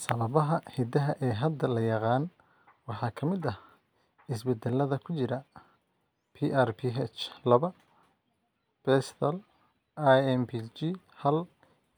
Sababaha hidaha ee hadda la yaqaan waxaa ka mid ah isbeddellada ku jira PRPH laba, BESThal, IMPG hal,